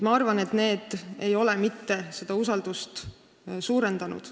Ma arvan, et see kõik ei ole mitte seda usaldust suurendanud.